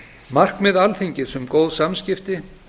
markmið alþingis um góð samskipti